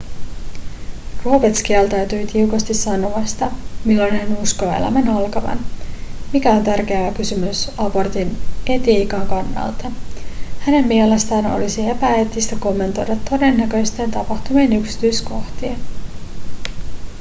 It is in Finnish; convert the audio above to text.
roberts kieltäytyi tiukasti sanomasta milloin hän uskoo elämän alkavan mikä on tärkeä kysymys abortin etiikan kannalta hänen mielestään olisi epäeettistä kommentoida todennäköisten tapahtumien yksityiskohtia